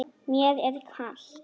Mér er kalt.